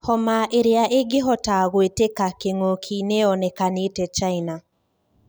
Homa 'iria ingihota gũtwika king'oki' niyonikanite China.